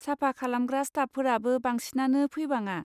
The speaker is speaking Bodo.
साफा खालामग्रा स्टाफफोराबो बांसिनानो फैबाङा।